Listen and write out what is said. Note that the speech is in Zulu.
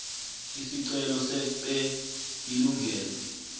isicelo sefpe ilungelo